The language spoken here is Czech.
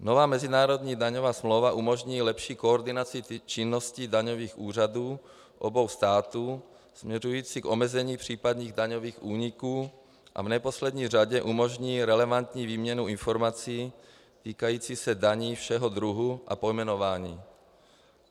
Nová mezinárodní daňová smlouva umožní lepší koordinaci činnosti daňových úřadů obou států směřující k omezení případných daňových úniků a v neposlední řadě umožní relevantní výměnu informací týkající se daní všeho druhu a pojmenování.